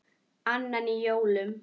Annan í jólum.